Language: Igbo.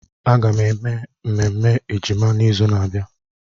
Aga m eme ememme ejima n'izu na-abịa.